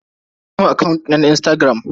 An rufe mun akant dina na Instagram.